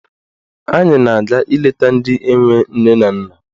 Anyị na-aga ileta ndị enwe nne na nna.